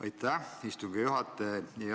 Aitäh, istungi juhataja!